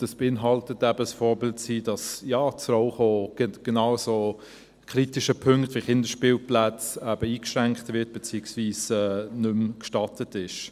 Das beinhaltet eben ein Vorbild zu sein, und dass das Rauchen genau an so kritischen Punkten wie Kinderspielplätzen eben eingeschränkt wird, beziehungsweise nicht mehr gestattet ist.